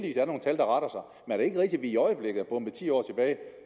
vi i øjeblikket er bombet ti år tilbage